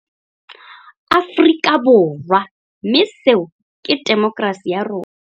Aforika Borwa, mme seo ke temo kerasi ya rona.